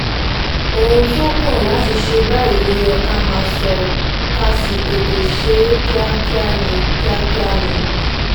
ohun tó kàn láti ṣe báyìí ló yẹ ká máa sọ ká sì tètè ṣe é kíákíá ni kíákíá ni